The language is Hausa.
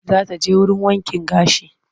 Za ta je wurin wankin gashi.